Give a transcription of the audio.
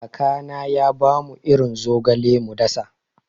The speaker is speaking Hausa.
Kakana ya bamu irin zogale mu dasa.